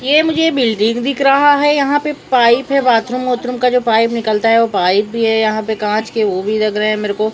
यह मुझे बिल्डिंग दिख रहा है यहां पे पाइप है बाथरूम वाथरूम का जो पाइप निकलता है वो पाइप भी है यहां पे कांच के वो भी लग रहे हैं मेरे को।